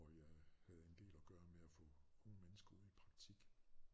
Hvor jeg havde en del at gøre med at få unge mennesker ud i praktik